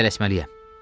Mən tələsməliyəm.